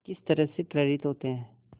किस तरह से प्रेरित होते हैं